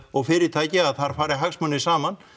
og fyrirtæki að þar fari hagsmunir saman